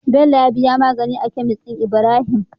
Bello ya diya magani a kemis din ibrahim